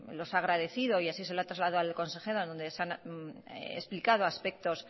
los ha agradecido y así se lo ha trasladado al consejero donde se han explicado aspectos